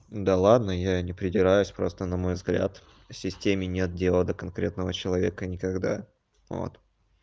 да ладно я не придираюсь просто на мой взгляд системе нет дела до конкретного человека никогда вот